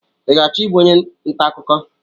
I ga-achọ ịbụ onye ntaakụkọ?